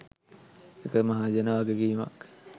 එක මහජන වගකීමක්.